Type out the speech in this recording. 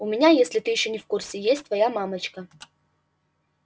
у меня если ты ещё не в курсе есть твоя мамочка